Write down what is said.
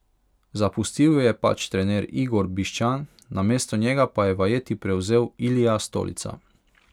Zapustil jo je pač trener Igor Bišćan, namesto njega pa je vajeti prevzel Ilija Stolica.